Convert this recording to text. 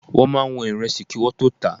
Wọ́n máa ń wọn Ìrẹsì kí wọ́n tó tà á.